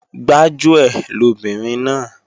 Gbájúẹ̀ lobìnrin náà